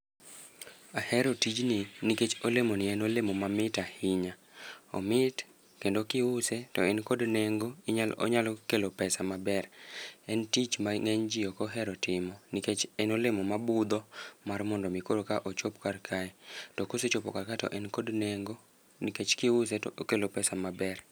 Ahero tijni nikech olemoni en olemo mamit ahinya. Omit kendo kiuse to en kod nengo, inyalo onyalo kelo pesa maber. En tich ma ngény ji ok ohero timo nikech en olemo ma budho mar mondo mi koro ka ochop kar kae. To kosechopo kar kae to en kod nengo. Nikech kiuse to okelo pesa maber.